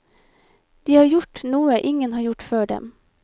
De har gjort noe ingen har gjort før dem.